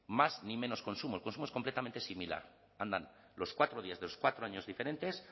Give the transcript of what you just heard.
más ni menos consumo el consumo es completamente similar andan los cuatro días de los cuatro años diferentes